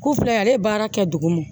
Ku filɛ ale baara kɛ duguma